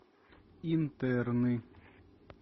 интерны